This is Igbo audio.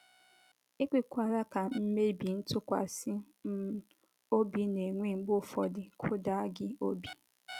Ekwekwala ka mmebi ntụkwasị um obi ana- enwe mgbe ufọdụ kụda gi obi.